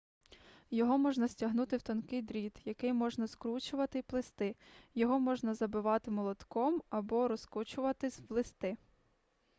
його можна стягнути в тонкий дріт який можна скручувати й плести його можна забивати молотком або розкочувати в листи